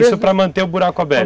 Isso para manter o buraco aberto?